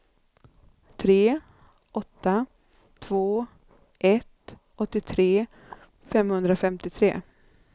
tre åtta två ett åttiotre femhundrafemtiotre